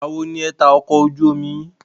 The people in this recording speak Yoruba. Ìgbà wo ni ẹ ta ọkọ̀ ojú omi yín?